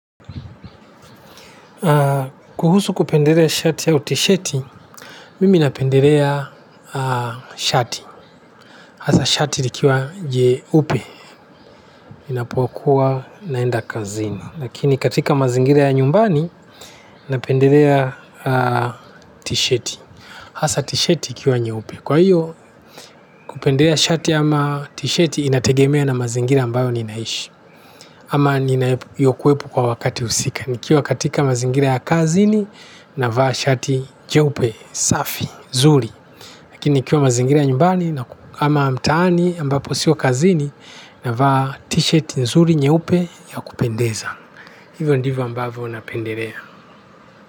Kuhusu kupendelea shati au tisheti, mimi napendelea shati, hasa shati likiwa jeupe, ninapokuwa naenda kazini, lakini katika mazingira ya nyumbani napendelea tisheti, hasa tisheti ikiwa nyeupe. Kwa hiyo kupendelea shati ama tisheti inategemea na mazingira ambayo ninaishi. Ama ninapokuwepo kwa wakati husika nikiwa katika mazingira ya kazini navaa shati jeupe, safi, zuri. Lakini nikiwa mazingira nyumbani ama mtaani ambapo sio kazini navaa tisheti nzuri nyeupe ya kupendeza hivyo ndivyo ambavyo napendelea.